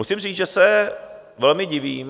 Musím říct, že se velmi divím.